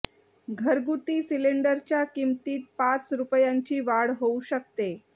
घरगुती सिलेंडरच्या किमतीत पाच रुपयांची वाढ होऊ शकते